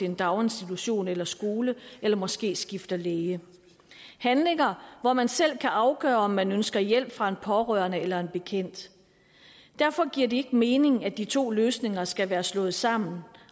en daginstitution eller skole eller måske skifter læge handlinger hvor man selv kan afgøre om man ønsker hjælp fra en pårørende eller en bekendt derfor giver det ikke mening at de to løsninger skal være slået sammen